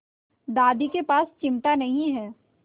दादी के पास चिमटा नहीं है